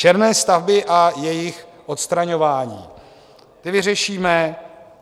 Černé stavby a jejich odstraňování, ty vyřešíme.